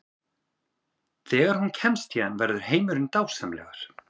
Þegar hún kemst héðan verður heimurinn dásamlegur.